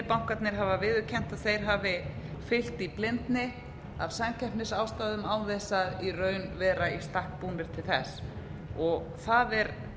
bankarnir hafa viðurkennt að þeir hafi fylgt í blindni af samkeppnisástæðum án þess að vera í raun í stakk búnir til þess það er